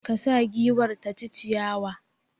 Ka sa giwar ta ci ciyawa!